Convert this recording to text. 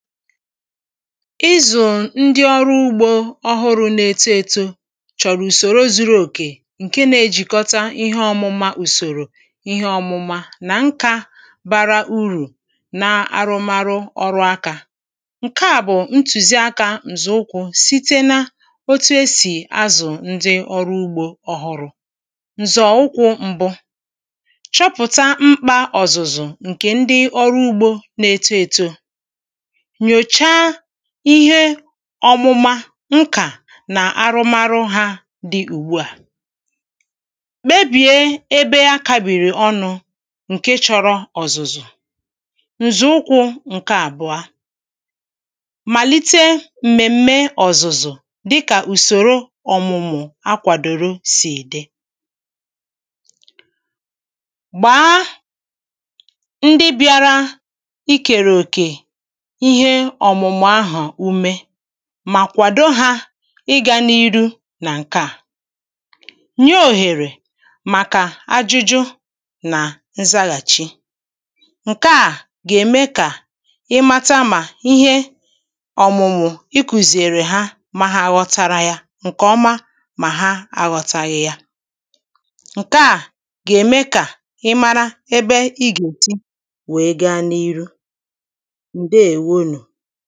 Izụ̄ ndi ọrụ úgbō ọhụrụ na-eto ēto chọ̀rọ̀ ùsòro zuru òkè ǹke na-ejìkọta ihe ọmụ̄mā ùsòrò ihe ọ́mụ̄mā nà nka bara urù na arụmarụ ọrụ akā ǹke à bụ̀ ntùziakā ǹzọ̀ụkwụ site na otu esì azụ̀ ndị ọrụ ugbō ọhụrụ̄ ǹzọ̀ụkwụ mbụ chọpụ̀ta mkpā ọ̀zụ̀zụ̀ ǹkè ndị ọrụ úgbō na-eto etō nyòcha ihe ọmụma nkà nà arụmarụ hā dị ùgbu à mebìe ebe akābìrì ọnụ̄ ǹke chọrọ ọ̀zụ̀zụ̀ ǹzọ̀ụkwụ̄ ǹke àbụ̀a màlite m̀mèm̀me ọ̀zụ̀zụ̀ dịkà ùsòro ọ̀mụ̀mụ̀ akwàdòro sì dị gbà a ndị bịara i kèrè òkè ihe ọ̀mụ̀mụ̀ ahụ̀ ume mà kwàdo hā ịgā n’iru nà ǹke à nye òhèrè màkà ajụjụ nà nzaghàchi ǹke à gà-ème kà ị mata mà ihe ọ̀mụ̀mụ̀ ikùzìrì ha mà hà ghọ̀tàrà yà ǹkeọma mà ha aghọ̄tāghị̄ yā ǹke à gà-ème kà ịmara ebe ị gà-ètí wèe gaa n’ihu ǹdeèwonù